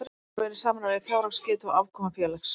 Gjöf verður að vera í samræmi við fjárhagsgetu og afkomu félags.